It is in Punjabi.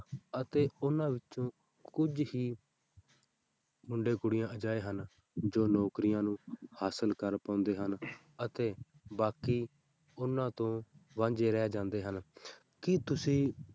ਅਤੇ ਉਹਨਾਂ ਵਿੱਚੋਂ ਕੁੱਝ ਹੀ ਮੁੰਡੇ ਕੁੜੀਆਂ ਅਜਿਹੇ ਹਨ, ਜੋ ਨੌਕਰੀਆਂ ਨੂੰ ਹਾਸ਼ਲ ਕਰ ਪਾਉਂਦੇ ਹਨ ਅਤੇ ਬਾਕੀ ਉਹਨਾਂ ਤੋਂ ਵਾਂਝੇ ਰਹਿ ਜਾਂਦੇ ਹਨ ਕੀ ਤੁਸੀਂ